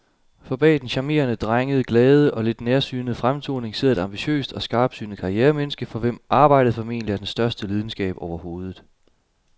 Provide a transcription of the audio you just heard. For bag den charmerende, drengede, glade og lidt nærsynede fremtoning sidder et ambitiøst og skarpsynet karrieremenneske, for hvem arbejdet formentlig er den største lidenskab overhovedet.